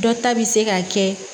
Dɔ ta bi se ka kɛ